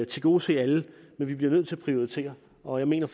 tilgodese alle men vi bliver nødt til at prioritere og jeg mener